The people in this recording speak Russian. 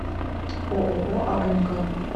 ооо амк